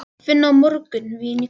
Vinna á morgun, vín í kvöld.